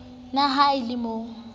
na ha e le mo